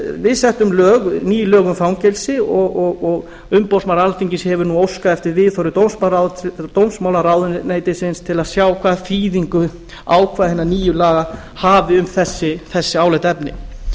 við settum ný lög um fangelsi og umboðsmaður alþingis hefur nú óskað eftir viðhorfi dómsmálaráðuneytisins til að sjá hvaða þýðingu ákvæði hinna nýju laga hafi um þessi álitaefni